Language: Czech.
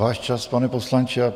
Váš čas, pane poslanče.